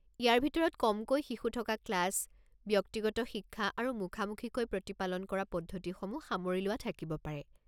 ইয়াৰ ভিতৰত কমকৈ শিশু থকা ক্লাছ, ব্যক্তিগত শিক্ষা আৰু মুখামুখিকৈ প্ৰতিপালন কৰা পদ্ধতিসমূহ সামৰি লোৱা থাকিব পাৰে।